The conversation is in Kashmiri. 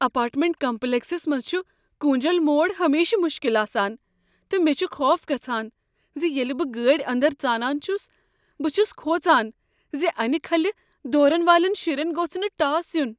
اپارٹمنٹ کمپلیکسس منٛز چھ كوٗنجل موڑ ہمیشہٕ مشکل آسان تہٕ مےٚ چھ خوف گژھان ز ییٚلہ بہٕ گٲڑۍ اندر ژانان چھس بہٕ چھس کھوژان ز ٲنۍ كھلہِ دورن والین شرین گوٚژھ نہ ٹاس یُن۔